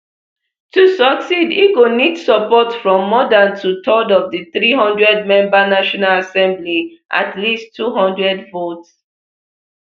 to succeed e go need support from more dan twothirds of di three hundredmember national assembly at least two hundred votes